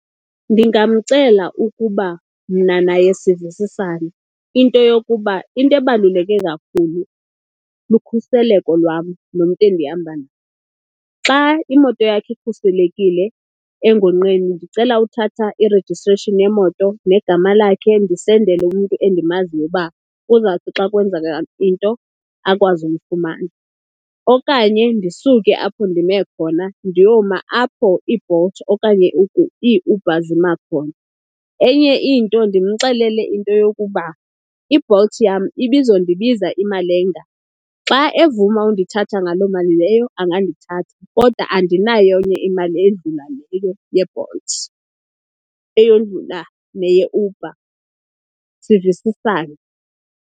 Ndingamcela ukuba mna naye sivisisane into yokuba into ebaluleke kakhulu lukhuseleko lwam nomntu endihamba. Xa imoto yakhe ikhuselekile engongqeni ndicela uthatha i-registration yemoto negama lakhe ndisendele umntu endimaziyo uba kuzawuthi xa kwenzeka into akwazi umfumana. Okanye ndisuke apho ndime khona ndiyoma apho iiBolt okanye iiUber zima khona. Enye into ndimxelele into yokuba iBolt yam ibizondibiza imali enga. Xa evuma undithatha ngaloo mali leyo angandithatha, kodwa andinayo enye imali eyedlula leyo yeBolt, eyodlula neyeUber, sivisisane.